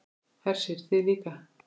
Hersir: Þið líka?